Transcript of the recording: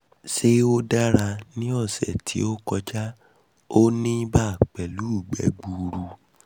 ṣé ó dára? ní ọ̀sẹ̀ tí ní ọ̀sẹ̀ tí ó kọjá ó ní ibà pẹ̀lú igbe gbuuru